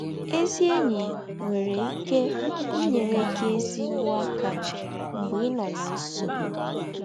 Ezi enyi nwere ike inyere gị ezịgbọ aka mgbe ị nọ ná nsọgbụ.